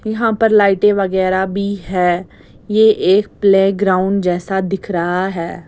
यहाँ पर लाइटें वगैरह भी है ये एक प्लेग्राउंड जैसा दिख रहा है।